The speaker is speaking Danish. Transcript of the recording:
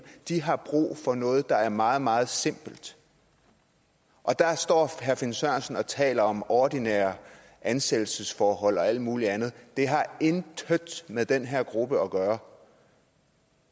de har brug for noget der er meget meget simpelt og der står herre finn sørensen og taler om ordinære ansættelsesforhold og alt muligt andet det har intet med den her gruppe at gøre